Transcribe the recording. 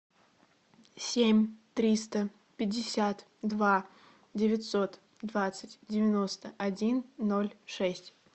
семь триста пятьдесят два девятьсот двадцать девяносто один ноль шесть